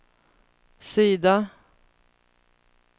sida